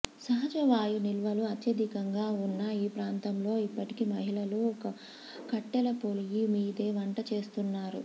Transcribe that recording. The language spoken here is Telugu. సహజవాయు నిల్వలు అత్యధికంగా ఉన్నా ఈ ప్రాంతంలో ఇప్పటికీ మహిళలు కట్టెలపొయ్యిమీదే వంట చేస్తుంటారు